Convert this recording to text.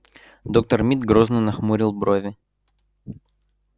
доктор мид грозно нахмурил брови